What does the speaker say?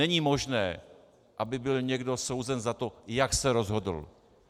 Není možné, aby byl někdo souzen za to, jak se rozhodl.